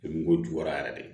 ko juguya yɛrɛ de